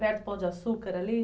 Perto do pão de açúcar ali?